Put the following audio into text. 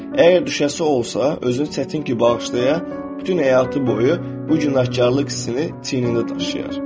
Əgər düşəsi olsa, özünü çətin ki, bağışlaya, bütün həyatı boyu bu günahkarlıq hissini çiynində daşıyar.